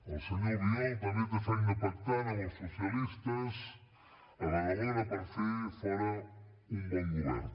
el senyor albiol també té feina pactant amb els socialistes a badalona per fer fora un bon govern